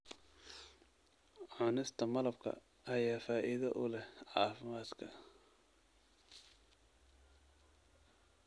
Cunista malabka ayaa faa'iido u leh caafimaadka.